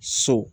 So